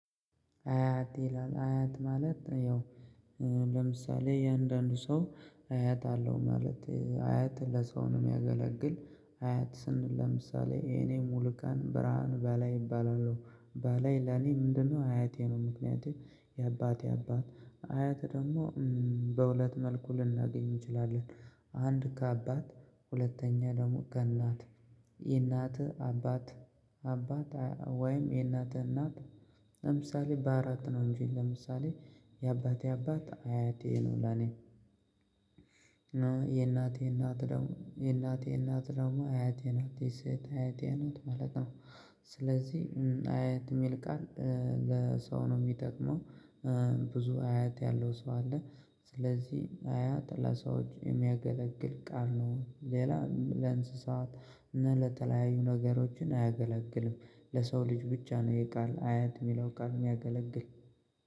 አያት ይላል አያት ማለት ያው ለምሳሌ የአንዳንዱ ሰው አያት አለው ማለት አያት ለሰው ነው የሚያገለግል አያት ስንል ለምሳሌ የኔ ሙሉቀን ብርሃን በላይ እባላለሁ በላይ ለኔ ምንድነው አያቴ ነው። ምክንያቴ የአባቴ አባት አያት ደግሞ በሁለት መልኩ ልናገኝ እንችላለን። አንድ ከአባት ሁለተኛ ደግሞ ከእናት የእናትህ አባት አባት ወይም የእናትህ እናት ለምሳሌ በአራት ነው። እንጂ ለምሳሌ የአባቴ አባት አያቴ ነው። ለኔ የእናቴ እናት ደግሞ የእናቴ እናት ደግሞ አያቴ ናት የሰይት አያቴ ናት ማለት ነው። ስለዚህ አያት የሚል ቃል ለሰው ነው የሚጠቅመው። ብዙ አያት ያለው ሰው አለ። ስለዚህ አያ ጠላት ሰው የሚያገለግል ቃል ነው። ሌላ ለእንስሳት እና ለተለያዩ ነገሮችን አያገለግልም። ለሰው ልጅ ብቻ ነው የቃል አያት የሚለው ቃል የሚያገለግል